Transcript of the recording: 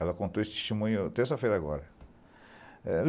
Ela contou esse testemunho terça-feira agora.